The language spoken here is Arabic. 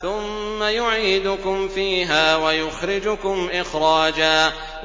ثُمَّ يُعِيدُكُمْ فِيهَا وَيُخْرِجُكُمْ إِخْرَاجًا